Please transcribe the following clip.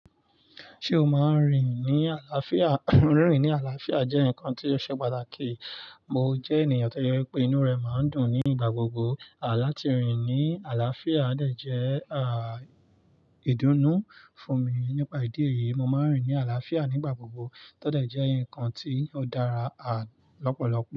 Ṣé o máa ń rìn ní àlàáfíà? Rìn rin ní àlàáfíà jẹ́ nǹkan tí ó ṣe pàtàkì. Mo jẹ́ ènìyàn tí ó jẹ wi pé inú rẹ̀ máa ń dùn nígbà gbogbo. À láti rìn ní àlàáfíà dẹ̀ jẹ́ ìdùnnú fún mi. Nípa ìdí èyí, mo máa ń rìn ní àlàáfíà nígbà gbogbo tó dẹ̀ jẹ́ ǹkan tí ó dára lọ́pọ̀lọpọ̀